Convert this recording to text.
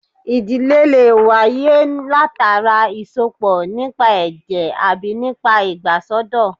Ìdílé lè wáyé látara ìsọpọ̀ nípa ẹ̀jẹ̀ àbí nípa ìgbàsọ́dọ̀